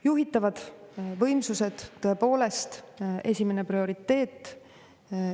Juhitavad võimsused, tõepoolest, esimene prioriteet.